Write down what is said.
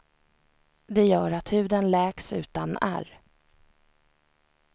Det gör att huden läks utan ärr.